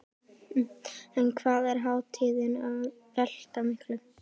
En hvað er hátíðin að velta miklu?